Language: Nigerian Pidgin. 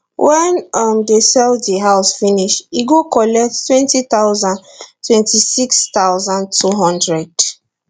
wen um dem sell di house finish e go collect twenty thousand twenty six thousand two hundred